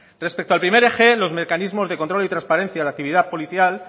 respecto al primer eje los mecanismos de control y transparencia de actividad policial